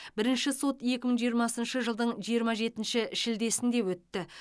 бірінші сот екі мың жиырмасыншы жылдың жиырма жетінші шілдесінде өтті